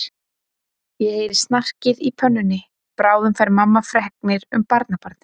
Ég heyri snarkið í pönnunni, bráðum fær mamma fregnir um barnabarnið.